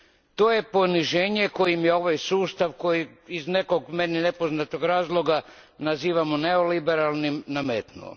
To je poniženje koje je ovaj sustav, koji iz nekog meni nepoznatog razloga nazivamo neoliberalnim, nametnuo.